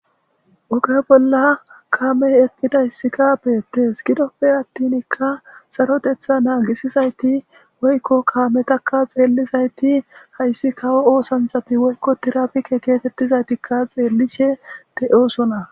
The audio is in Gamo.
Oga bola kamey eqidaysika betes gidope atinka sarotetha nagisizayti oyko kametaka xeelizayti haysi kawo oosanchati woylo tirapike getetizaytika xeelishe de'osona.